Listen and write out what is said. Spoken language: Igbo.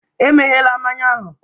E meghela mmanya ahụ!